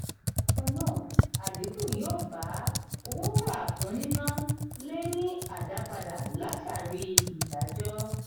bákannáà adinku yó bá owó wà fún níná le ni adapada látàrí ìdájọ.